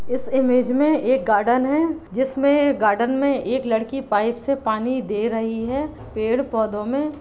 इस इमेज में एक गार्डन है जिसमे गार्डन में एक लड़की पाइप से पानी दे रही है पेड़-पौधों में --